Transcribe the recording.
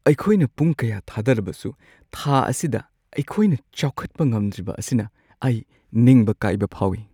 ꯑꯩꯈꯣꯏꯅ ꯄꯨꯡ ꯀꯌꯥ ꯊꯥꯗꯔꯕꯁꯨ ꯊꯥ ꯑꯁꯤꯗ ꯑꯩꯈꯣꯏꯅ ꯆꯥꯎꯈꯠꯄ ꯉꯝꯗ꯭ꯔꯤꯕ ꯑꯁꯤꯅ ꯑꯩ ꯅꯤꯡꯕ ꯀꯥꯏꯕ ꯐꯥꯎꯏ ꯫